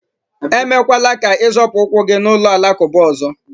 emekwala ka ị zọpụ ụkwụ gị n'ụlọ alakụba ọzọ